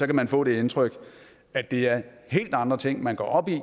kan man få det indtryk at det er helt andre ting man går op i